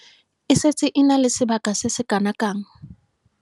E setse e na le sebaka se se kanakang.